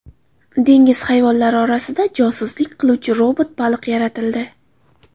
Dengiz hayvonlari orasida josuslik qiluvchi robot baliq yaratildi .